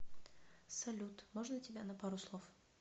салют можно тебя на пару слов